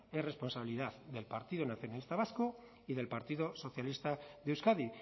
es responsabilidad del partido nacionalista vasco y del partido socialista de euskadi